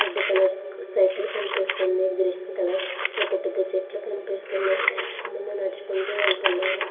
Red colour cycle కనిపిస్తోంది. Green colour పెద్ద పెద్ద చెట్లు కనిపిస్తున్నాయి. చాలా మంది నడుచుకుంటూ వెళ్తున్నారు.